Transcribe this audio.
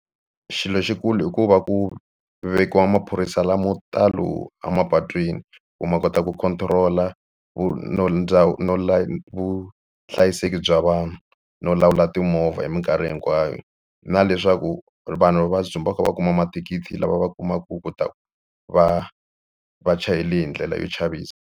Xilo xikulu i ku va ku vekiwa maphorisa lamo talo emapatwini ku ma kota ku control-a vuhlayiseki bya vanhu no lawula timovha hi mikarhi hinkwayo na leswaku vanhu va dzumba va kha va kuma mathikithi lava va kumaka ku ta va va chayele hi ndlela yo chavisa.